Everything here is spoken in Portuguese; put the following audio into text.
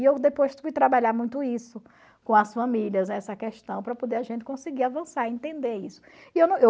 E eu depois fui trabalhar muito isso com as famílias, essa questão, para poder a gente conseguir avançar e entender isso.